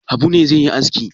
Habu ne zai yi aski?